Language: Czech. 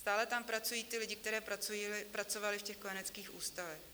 Stále tam pracují ti lidé, kteří pracovali v těch kojeneckých ústavech.